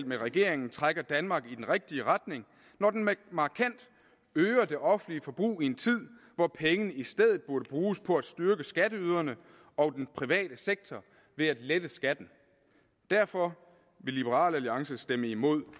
med regeringen trækker danmark i den rigtige retning når den markant øger det offentlige forbrug i en tid hvor pengene i stedet burde bruges på at styrke skatteyderne og den private sektor ved at lette skatten derfor vil liberal alliance stemme imod